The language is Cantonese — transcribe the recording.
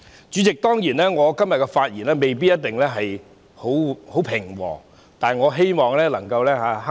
主席，我今天的發言未必一定很平和，但我希望能夠克制。